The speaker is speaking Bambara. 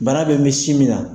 Bana be min sin min na